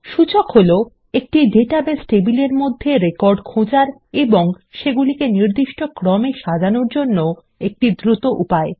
সূচক হলো একটি ডাটাবেস টেবিলের মধ্যে রেকর্ড খোঁজার এবং নির্দিষ্ট ক্রমে সাজানোর জন্য একটি দ্রুত উপায়